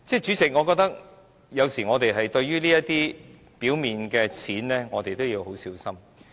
主席，我覺得我們有時要小心對待這些表面的錢。